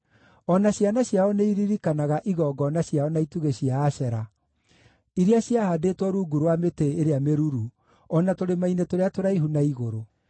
O na ciana ciao nĩiririkanaga igongona ciao na itugĩ cia Ashera iria ciahaandĩtwo rungu rwa mĩtĩ ĩrĩa mĩruru, o na tũrĩma-inĩ tũrĩa tũraihu na igũrũ.